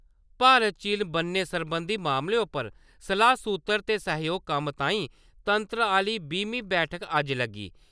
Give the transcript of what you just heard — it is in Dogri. भारत-चीन ब'न्ने सरबंधी मामले उप्पर सलाह्-सूत्तर ते सह्जोग कम्म तांई तंत्र आह्ली बीह्मीं बैठक अज्ज लग्गी।